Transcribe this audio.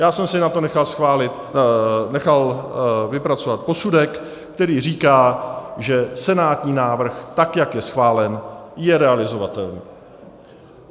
Já jsem si na to nechal vypracovat posudek, který říká, že senátní návrh, tak jak je schválen, je realizovatelný.